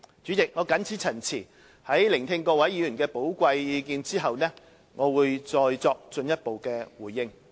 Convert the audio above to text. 主席，我謹此陳辭，在聆聽各位議員的寶貴意見後，我會再作進一步回應。